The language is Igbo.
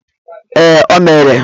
Ee, o mere.